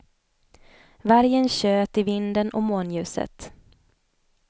Vargen tjöt i vinden och månljuset.